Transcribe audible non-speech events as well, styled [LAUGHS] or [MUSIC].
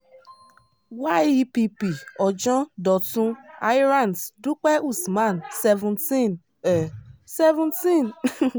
yepp ojon dọ̀tun hayarant dúpẹ́ usman seventeen um seventeen [LAUGHS]